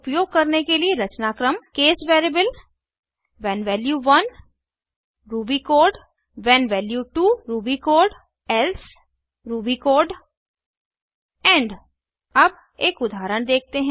case उपयोग करने के लिए रचनाक्रम160 case variable when value 1 Ruby code when value 2 Ruby code else Ruby code end अब एक उदाहरण देखते हैं